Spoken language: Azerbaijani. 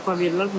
Çupa verirlər.